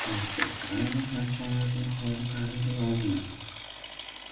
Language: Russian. мистер стразерс отчаянно замахал руками давая знак